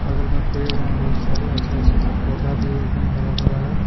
बगल मैं पेड़ है बहुत सारे अच्छे-अच्छे पौधा भी एकदम हरा भरा है.